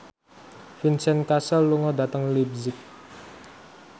Vincent Cassel lunga dhateng leipzig